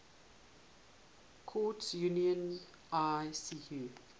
courts union icu